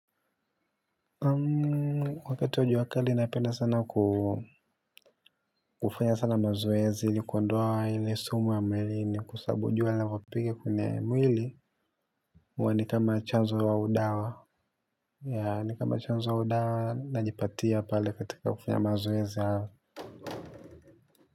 Wakati wa jua kali napenda sana kufanya sana mazoezi ni kuondoa ile sumu wa mwili ni kwa sabu jua lavopiga kwenye mwili uwa ni kama chanzo wa udawa ni kama chanzo wa udawa najipatia pale katika kufanya mazoezi hayo.